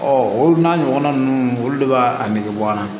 o n'a ɲɔgɔnna ninnu olu de b'a nege bɔ a la